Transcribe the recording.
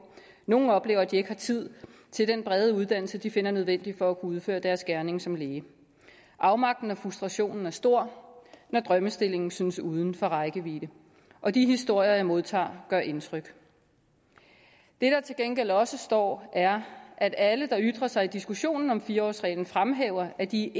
nogle oplever at de ikke har tid til den brede uddannelse de finder nødvendig for udføre deres gerning som læge afmagten og frustrationen er stor når drømmestillingen synes uden for rækkevidde og de historier jeg modtager gør indtryk det der til gengæld også står er at alle der ytrer sig i diskussionen om fire årsreglen fremhæver at de